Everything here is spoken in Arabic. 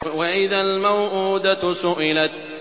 وَإِذَا الْمَوْءُودَةُ سُئِلَتْ